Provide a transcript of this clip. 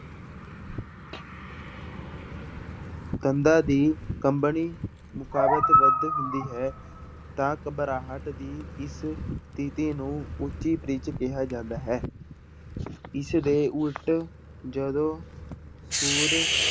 ਤੰਦਾਂ ਦੀ ਕੰਬਣੀ ਹੁੰਦੀ ਹੈ ਤਾਂ ਘਬਰਾਹਟ ਦੀ ਇਸ ਸਥਿੱਤੀ ਨੂੰ ਉੱਚੀ ਪਿੱਚ ਕਿਹਾ ਜਾਂਦਾ ਹੈ ਇਸਦੇ ਉੱਲਟ ਜਦੋਂ ਸੁਰ